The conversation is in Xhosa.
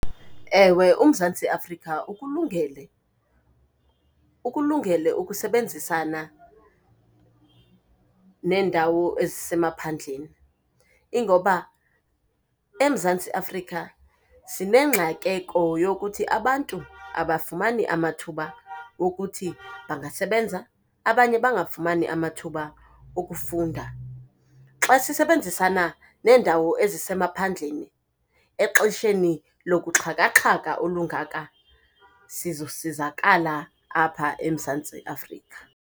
Ewe uMzantsi Afrika ukulungele, ukulungele ukusebenzisana neendawo ezisemaphandleni. Ingoba eMzantsi Afrika sinengxakeko yokuthi abantu abafumani amathuba okuthi bangasebenza, abanye bangafumani amathuba okufunda. Xa sisebenzisana neendawo ezisemaphandleni exesheni lokuxhakaxhaka olungaka sizosizakala apha eMzansti Afrika.